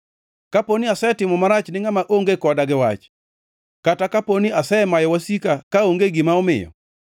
kaponi asetimo marach ni ngʼama onge koda gi wach kata kapo ni asemayo wasika kaonge gima omiyo,